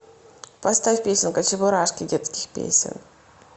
поставь песенка чебурашки детских песен